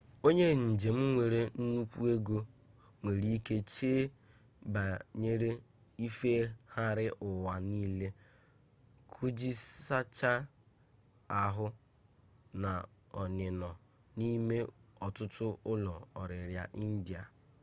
onye njem nwere nnukwu ego nwere-ike chee banyere ifeghari uwa nile kujisichaa ahu na onino nime otutu ulo-oriri ndia